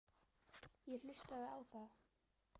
Ég hlustaði á þá.